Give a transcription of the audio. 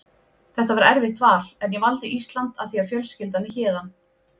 Þetta var erfitt val en ég valdi Ísland af því að fjölskyldan er héðan.